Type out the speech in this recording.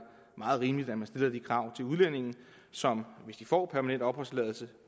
meget rimeligt at man stiller de krav til udlændinge som hvis de får permanent opholdstilladelse